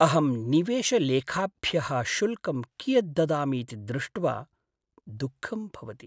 अहं निवेशलेखाभ्यः शुल्कं कियत् ददामि इति दृष्ट्वा दुःखं भवति।